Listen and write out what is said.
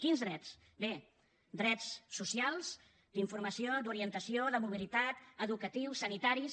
quins drets bé drets socials d’informació d’orientació de mobilitat educatius sanitaris